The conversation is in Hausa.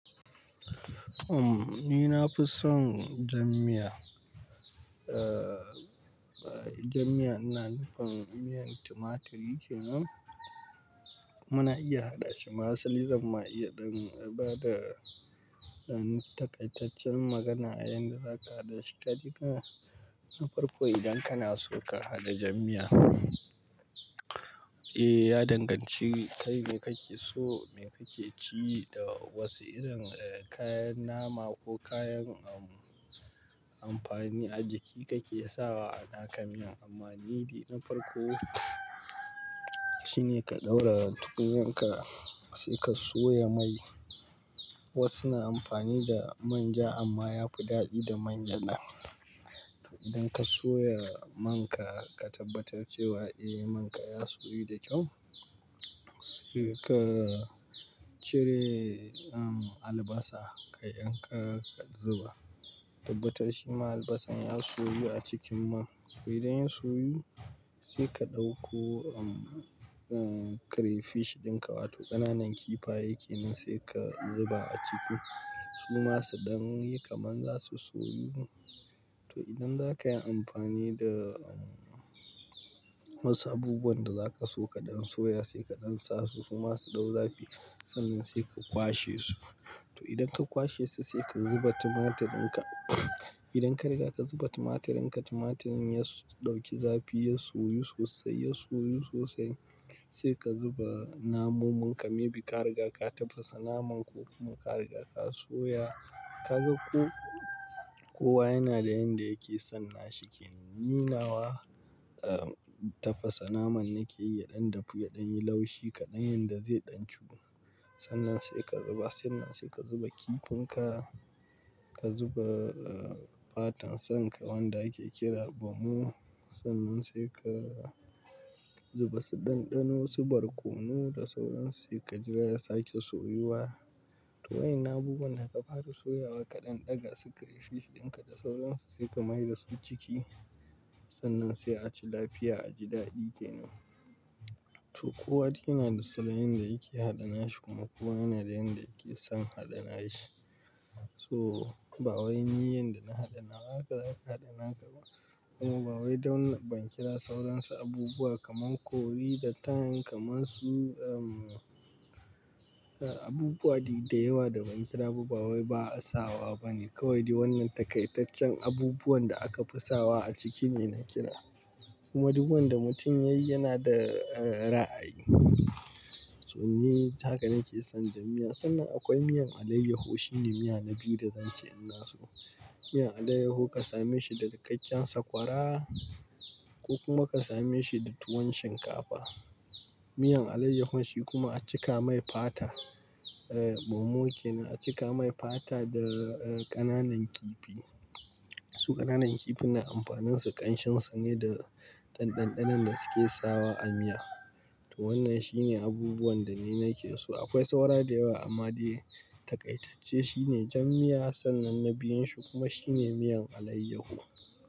Umm, ni na fi son jammiya. Ah, jammiya ina nufin, miyan tumaturi ke nan. Muna iya haɗa shi, ma asali zan ma iya dan bada ɗan takaitaccen magana a yanda za ka haɗa shi kaje kana, na farko idan kana so ka haɗa jan miya, eh ya danganci kai me kake so, me kake ci da wasu irin kayan nama ko kayan amfani a jiki kake sawa a naka miyan. Amma ni na farko shine ka ɗaurara tukunyanka, sai ka soya mai. Wasu na amfani da manja amma ya fi daɗi da mangyaɗa. Idan ka soya man ka, ka tabbatar cewa eh man ka ya soyu da kyau. Sai ka cire albasa, kayan ka ka zuba. Tabbatar shi ma albasan ya soyu a cikin man. To idan ya soyu, sai ka ɗauko um, crayfish dinka wato ƙananan kifaye kenan sai ka zuba a ciki. Suma su ɗan yi kamar zasu soyu. To idan zaka yi amfani da wasu abubuwan da zaka so kaɗan soya sai kaɗan sa su, su masu ɗau zafi, sannan sai ka kwashe su. To idan ka kwashe su sai ka zuba tumaturin ka. Idan ka riga ka zuba tumaturin ka, tumaturin ya ɗauki zafi, ya soyu sosai, ya soyu sosai sai ka zuba namun munka, maybe ka riga ka tafasa naman ko kuma ka riga ka soya. Kaga ko kowa yana da yanda yake son nashi ke. Ni nawa tafasa naman nake yi, ya ɗan dafu, ya ɗan yi laushi kaɗan yanda zai ɗan cu. Sannan sai ka zuba sannan sai ka zuba kifinka. Ka zuba fatan sanka wanda ake kira bomo. Sannan sal ka zuba, zuba su dandano su barkono da sauransu sai jira ya sake soyuwa. To wayannan abubuwan da ka fara soyawa ka dan daga su kayi shif dinka da sauransu sai ka maida su ciki. Sannan sai a ci lafiya aji dadi kenan. To kowa dai yana da salon yanda yake hada nashi, kuma kowa da yanda yake son hada nashi. To bawai ni yanda na hada nawa haka zaka hada naka ba. Kuma ba wai don ba kira sauran su abubuwa kamar Curry da thyme, kaman su am abubuwa dai da yawa da ban kira ba wai ba'a sawa bane. Kawai dai wannan takaitaccen abubuwan da aka fi sawa a ciki ne na kira. Kuma duk wanda mutum yayi yana da ra'ayi. To haka nake son jan miya. Sannan akwai miyan alayyahu shine miya na biyu da zan ce ina so. Miyan alayyahu ka same shi da dakakken sakwara ko kuma ka same shi da tuwon shinkafa. Miyan alayyahun shi kuma a cika mai fata eh bomo kenan, a cika mai fata da kananan kifi, su kananan kifi amfanin su kanshin su ne da dan dandanon da suke sawa a miya. To wannan shine abubuwan da ni nake so. Akwai saura da yawa amma dai takaitacce shine jammiya sannan na biyun shi kuma shine miyan alayyaho.